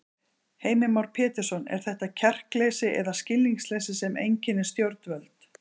Heimir Már Pétursson: Er þetta kjarkleysi eða skilningsleysi sem einkennir stjórnvöld?